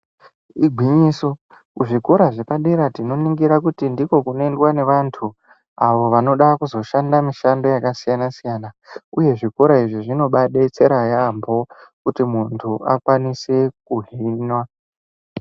Igwinyiso kuzvikora zvepadera tinoningira kuti ndiko kunoendwa nevantu avo vanoda kuzoshanda mishando yakasiyana siyana uye zvikora izvi zvinobadetsera yaembo kuti muntu akwanise kuhinwa.